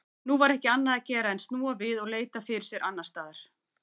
Nú var ekki annað að gera en snúa við og leita fyrir sér annarstaðar.